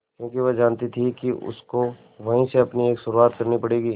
क्योंकि वह जानती थी कि उसको वहीं से अपनी एक शुरुआत करनी पड़ेगी